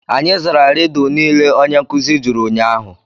Anyị zara Rịdụ niile onye nkuzi jụrụ ụnyahụ